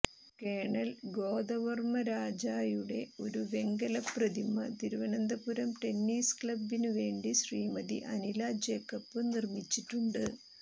colonel ഗോദവർമരാജായുടെ ഒരു വെങ്കലപ്രതിമ തിരുവനന്തപുരം ടെന്നീസ് ക്ളബ്ബിനുവേണ്ടി ശ്രീമതി അനിലാ ജേക്കബ് നിർമിച്ചിട്ടുണ്ട്